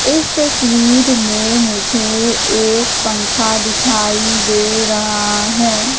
इस तस्वीर में मुझे एक पंखा दिखाई दे रहा है।